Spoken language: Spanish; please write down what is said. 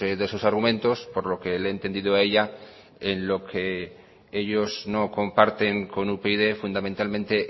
de sus argumentos por lo que le he entendido a ella en lo que ellos no comparten con upyd fundamentalmente